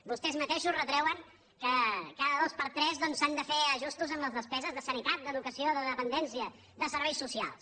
vostès mateixos retreuen que cada dos per tres doncs s’han de fer ajustos en les despeses de sanitat d’educació de dependència de serveis socials